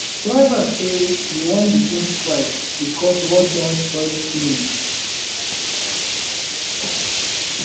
drivers say dey wan begin strike because road don spoil finish